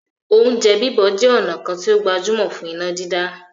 "Oúnjẹ bíbọ̀" jẹ ọ̀nà kan tí ó gbajúmọ̀ fún iná dídá